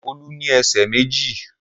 Olú ní ẹsẹ̀ méjì.